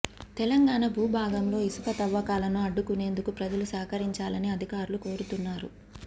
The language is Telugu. తెలంగాణ భూభాగంలో ఇసుక తవ్వకాలను అడ్డుకునేందుకు ప్రజలు సహకరించాలని అధికారులు కోరుతున్నారు